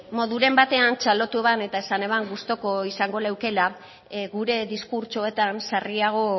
moduren batean txalotu eban eta esan eban gustuko izango leukela gure diskurtsoetan sarriago